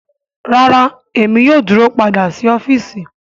Rara Emi yoo duro pada si ọfiisi